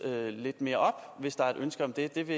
lidt mere op hvis der er et ønske om det